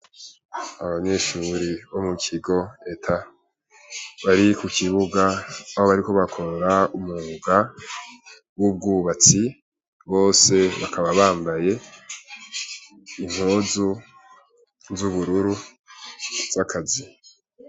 Abanyeshure bo mukigo ETA bari kukibuga aho bariko bakora umwuga w’ubwubatsi , bose bakaba bambaye impuzu z’ubururu z’akazi.